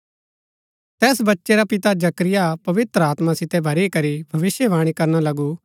तैस बच्चै रा पिता जकरिया पवित्र आत्मा सितै भरी करी भविष्‍यवाणी करना लगु